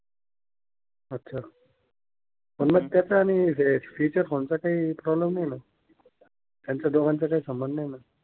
अच्छा अन मग त्याचा आणि फिचर फोन चा कोणता काही प्रोब्लेम नाही होणार? त्यांचा दोघांचा काही संबंध, नाही ना?